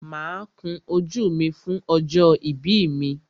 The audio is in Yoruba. Máa kun ojú mi fún ọjọ́ ìbí mi.